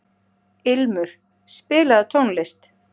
Ilmur, spilaðu tónlist.